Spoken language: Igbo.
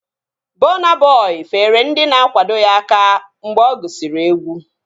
Bọna Bọi feere ndị na-akwado ya aka mgbe ọ gụsiri egwu